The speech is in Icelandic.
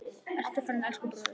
Nú ertu farinn, elsku bróðir.